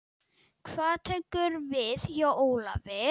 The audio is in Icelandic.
Hvað tekur við hjá Ólafi?